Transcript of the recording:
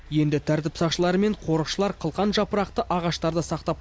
енді тәртіп сақшылары мен қорықшылар қылқан жапырақты ағаштарды сақтап